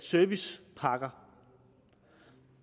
servicepakker